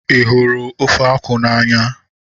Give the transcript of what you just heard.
Ị hụrụ ofe akwụ n'anya?